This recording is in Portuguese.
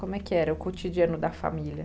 Como é que era o cotidiano da família?